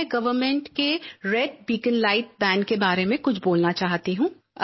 मैं गवर्नमेंट के red beacon ban के बारे में कुछ बोलना चाहती हूँ